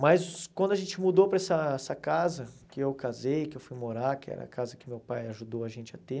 Mas quando a gente mudou para essa essa casa, que eu casei, que eu fui morar, que era a casa que meu pai ajudou a gente a ter...